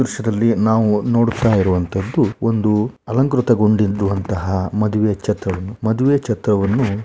ಈ ದೃಶ್ಯದಲ್ಲಿ ನಾವು ನೋಡುತ್ತಾ ಇರುವಂಥದ್ದು ಒಂದು ಅಲಂಕೃತ ಗೊಂಡಿರುವಂತಹ ಒಂದು ಮದುವೆ ಛತ್ರವನ್ನು ಮದುವೆ ಛತ್ರವನ್ನು --